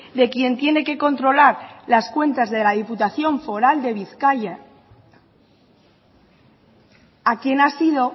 de quien tiene que controlar las cuentas de la diputación foral de bizkaia a quien ha sido